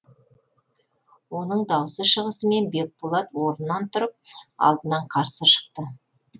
оның дауысы шығысымен бекболат орнынан тұрып алдынан қарсы шықты